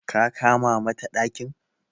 ka kama mata dakin?